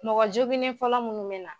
Mɔgɔ joginen fɔlɔ munnu bɛ na.